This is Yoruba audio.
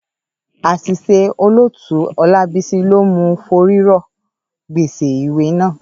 Àṣìṣe Olótùú Ọlábísí ló mú un forí rọ́ gbèsè ìwé náà.